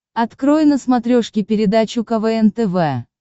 открой на смотрешке передачу квн тв